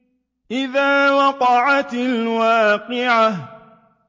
إِذَا وَقَعَتِ الْوَاقِعَةُ